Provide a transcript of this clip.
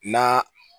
Na